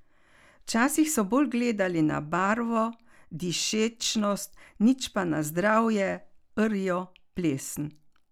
Včasih so bolj gledali na barvo, dišečnost, nič pa na zdravje, rjo, plesen.